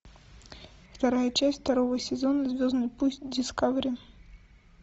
вторая часть второго сезона звездный путь дискавери